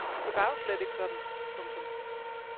Det var jo slet ikke sådan. punktum